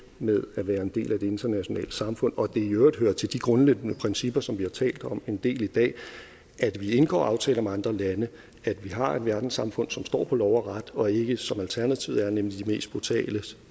med at være en del af det internationale samfund og at det i øvrigt hører til de grundlæggende principper som vi har talt om en del i dag at vi indgår aftaler med andre lande at vi har et verdenssamfund som står på lov og ret og ikke som alternativet er nemlig de mest brutales